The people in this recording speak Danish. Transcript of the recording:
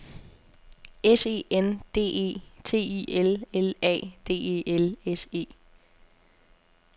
S E N D E T I L L A D E L S E